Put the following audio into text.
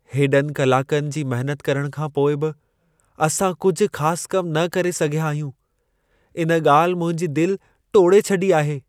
हेॾनि कलाकनि जी महिनत करण खां पोइ बि असां कुझु ख़ास कमु न करे सघियां आहियूं। इन ॻाल्हि मुंहिंजो दिल टोड़े छॾियो आहे।